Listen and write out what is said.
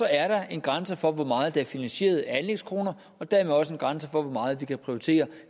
er der en grænse for hvor meget der er finansieret af anlægskroner og dermed også en grænse for hvor meget vi kan prioritere